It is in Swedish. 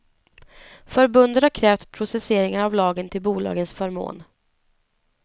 Förbundet har krävt preciseringar av lagen till bolagens förmån.